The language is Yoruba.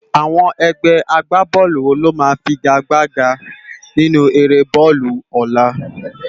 Awòn ègbè ágbábòlú wó ló má figágbágá ninú éré bòlú òlá?